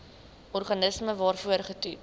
organisme waarvoor getoets